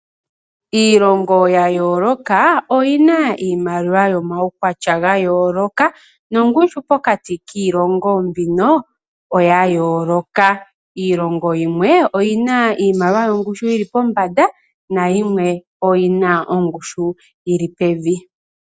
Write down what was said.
Iilongo ya yooloka oyi na iimaliwa yomaukwatya ga yooloka nongushu pokati kiilongo mbika oya yooloka. Iilongo yimwe oyi na iimaliwa yongushu yi li pombanda nayimwe oyi na ongushu yi li pevi.